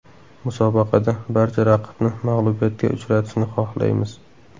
Musobaqada barcha raqibni mag‘lubiyatga uchratishni xohlaymiz.